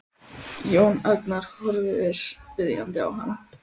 Jón Agnar horfir biðjandi á hann.